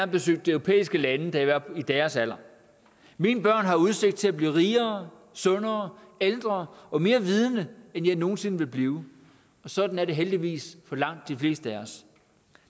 besøgte europæiske lande da jeg i deres alder mine børn har udsigt til at blive rigere sundere ældre og mere vidende end jeg nogen sinde vil blive og sådan er det heldigvis for langt de fleste af os